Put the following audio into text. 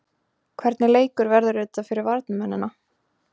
Hvernig leikur verður þetta fyrir varnarmennina?